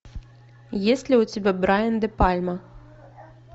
есть ли у тебя брайан де пальма